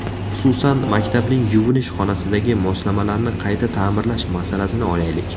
Xususan, maktabning yuvinish xonasidagi moslamalarni qayta ta’mirlash masalasini olaylik.